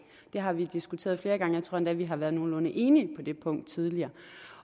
har vi diskuteret flere gange og jeg tror endda vi har været nogenlunde enige på det punkt tidligere